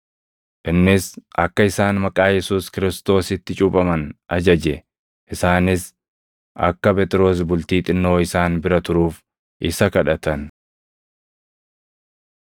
Innis akka isaan maqaa Yesuus Kiristoositti cuuphaman ajaje; isaanis akka Phexros bultii xinnoo isaan bira turuuf isa kadhatan.